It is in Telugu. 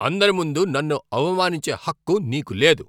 అందరి ముందు నన్ను అవమానించే హక్కు నీకు లేదు.